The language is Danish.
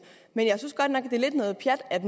det er lidt noget pjat at